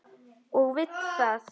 Og vill það.